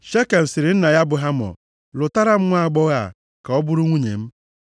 Shekem sịrị nna ya bụ Hamọ “Lụtara m nwaagbọghọ a, ka ọ bụrụ nwunye m.”